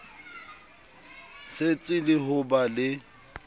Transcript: setsi le ho ba le